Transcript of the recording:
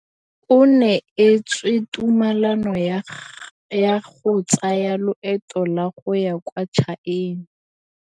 O neetswe tumalanô ya go tsaya loetô la go ya kwa China.